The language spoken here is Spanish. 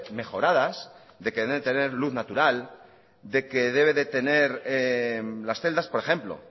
mejoradas de que deben tener luz natural de que deben tener las celdas por ejemplo